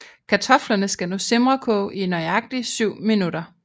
Kartoflerne skal nu simrekoge i nøjagtig 7 minutter